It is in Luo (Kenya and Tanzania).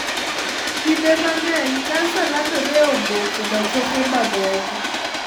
Kinde mang'eny kansa landore e obo koda choke mamoko.